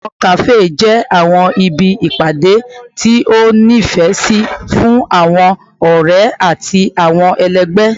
Awọn kafe jẹ awọn ibi ipade ti o nifẹ si fun awọn ọrẹ ati awọn ẹlẹgbẹ